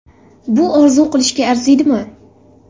Bu orzu qilishga arziydimi?